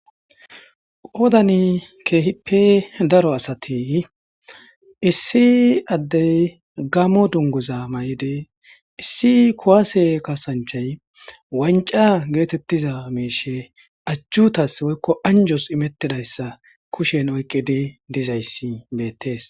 Qoodani kehippe daro asati issi Adey gaamo dunguza mayidi issi kuwase kasancahayi wanca getetiza miishe ajutasasi woyko anjosi imetidaysa kushen oykidi dizaysi beetesi.